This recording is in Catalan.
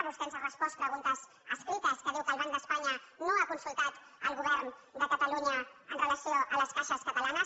vostè ens ha respost preguntes escrites que diu que el banc d’espanya no ha consultat el govern de catalunya amb relació a les caixes catalanes